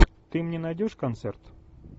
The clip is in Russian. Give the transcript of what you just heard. ты мне найдешь концерт